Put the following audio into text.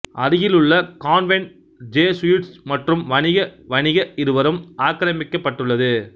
அருகிலுள்ள convent Jesuits மற்றும் வணிக வணிக இருவரும் ஆக்கிரமிக்கப்பட்டுள்ளது